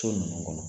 So ninnu kɔnɔ